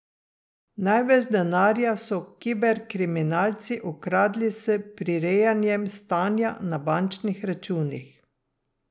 Največ denarja so kiberkriminalci ukradli s prirejanjem stanja na bančnih računih.